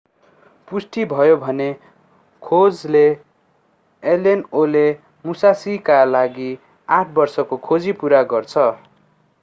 पुष्टि भयो भने खोजले allen 0ले मुशाशीका लागि आठ बर्षको खोजी पूरा गर्छ